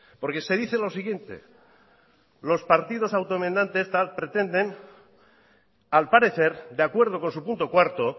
porque se dice lo siguiente los partidos autoenmendantes tal pretenden al parecer de acuerdo con su punto cuarto